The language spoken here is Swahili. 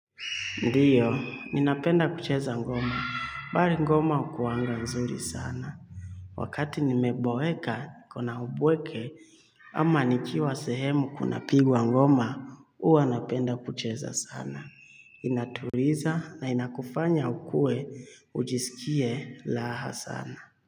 Ndiyo, ninapenda kucheza ngoma. Bali ngoma hukuanga nzuri sana. Wakati nimeboeka, kuna ubweke, ama nikiwa sehemu kuna pigwa ngoma, huwa napenda kucheza sana. Inatuliza na inakufanya ukuwe, ujiskie laha sana.